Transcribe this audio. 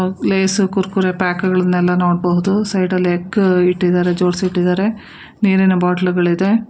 Lace Kurkure pack ಗಳನ್ನೆಲ್ಲ ನೋಡ್ಬಹುದು ಸೈಡಲ್ಲಿ ಎಗ್ ಇಟ್ಟಿದಾರೆ ಜೋಡ್ಸಿಟ್ಟಿದ್ದಾರೆ ನೀರಿನ ಬಾಟ್ಳುಗಳಿದೆ.